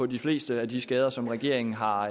de fleste af de skader som regeringen har